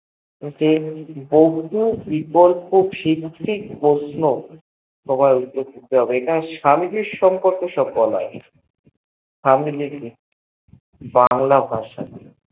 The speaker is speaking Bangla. যে বহু বিকল্প হীন প্রশ্ন বলা আছে এখানে স্বামীজীর সম্পকর্কে বলা আছে বাংলা ভাষা